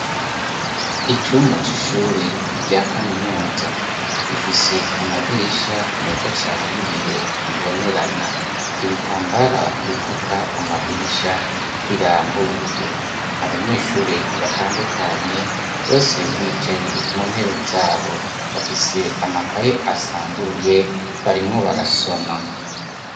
Icumba c'ishure rya kaminuza ; gifise amadirisha meza cane y'ibiyo bibonerana. Ibitambara bifuka amadirisha birambuye. Abanyeshure batandukanye bose bicaye mu ntebe zabo; bafise amakaye asanzuruye, barimwo barasoma.